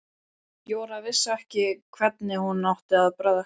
Jóra vissi ekki hvernig hún átti að bregðast við.